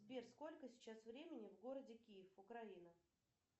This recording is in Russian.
сбер сколько сейчас времени в городе киев украина